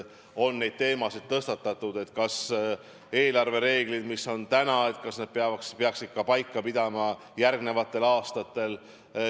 On tõstatatud teema, kas praegused eelarvereeglid peaks paika pidama ka järgmistel aastatel.